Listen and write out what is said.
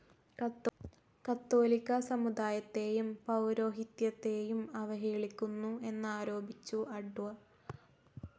Catholic സമുദായത്തേയും പൗരോഹിത്യത്തേയും അവഹേളിക്കുന്നു എന്നാരോപിച്ചു അഡ്വ.